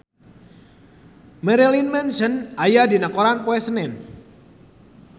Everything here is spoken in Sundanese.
Marilyn Manson aya dina koran poe Senen